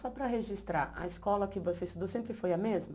Só para registrar, a escola que você estudou sempre foi a mesma?